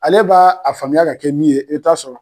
Ale b'a faamuya ka kɛ min ye , i bi taa sɔrɔ